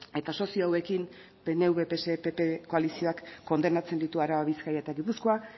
eta sozio hauekin pnv pse pp koalizioak kondenatzen ditu araba bizkaia eta gipuzkoa